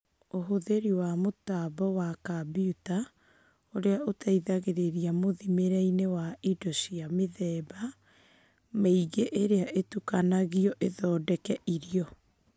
Uhũthĩri wa mũtambo wa kambiuta ũrĩa ũteithagĩrĩria mũthimĩre-inĩ wa indo cia mĩthemba mĩingĩ iria itukanagio ithondeke irio.